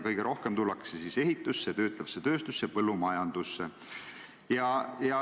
Kõige rohkem tullakse tööle ehitusse, töötlevasse tööstusse ja põllumajandusse.